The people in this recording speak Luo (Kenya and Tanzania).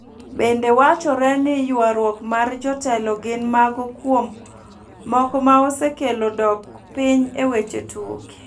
Bende wachore ni yuaruok mar jotelo gin mago kuom moko ma osekelo dok piny e weche tuke.